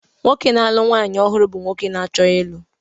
Onye na-alụ nwaanyị ọhụrụ bụ nwoke na-achọ ịlụ.